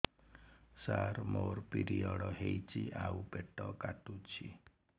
ସାର ମୋର ପିରିଅଡ଼ ହେଇଚି ଆଉ ପେଟ କାଟୁଛି